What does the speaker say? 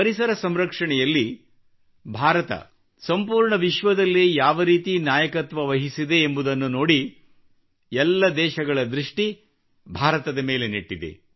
ಪರಿಸರ ಸಂರಕ್ಷಣೆಯಲ್ಲಿ ಭಾರತ ಸಂಪೂರ್ಣ ವಿಶ್ವದಲ್ಲೇ ಯಾವ ರೀತಿ ನಾಯಕತ್ವವಹಿಸಿದೆ ಎಂಬುದನ್ನು ನೋಡಿ ಎಲ್ಲ ದೇಶಗಳ ದೃಷ್ಟಿ ಭಾರತದ ಮೇಲೆ ನೆಟ್ಟಿದೆ